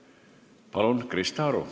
Palun, Krista Aru!